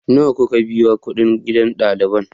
Nawa kuka biya kuɗin gidan ɗaliban?